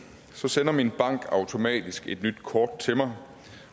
sender min bank automatisk et nyt kort til mig